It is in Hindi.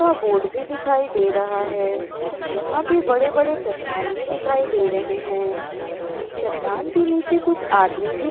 का बोर्ड भी दिखाई दे रहा है यहां पर बड़े-बड़े चट्टान भी दिखाई दे रहे हैं चट्टान के नीचे कुछ आदमी भी --